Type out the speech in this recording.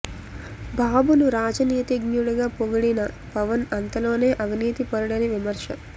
బాబును రాజనీతిజ్ఞుడు గా పొగిడిన పవన్ అంతలోనే అవినీతి పరుడని విమర్శ